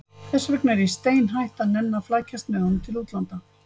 Þess vegna er ég steinhætt að nenna að flækjast með honum til útlanda.